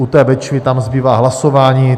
U té Bečvy tam zbývá hlasování.